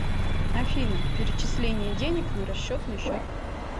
афина перечисление денег на расчетный счет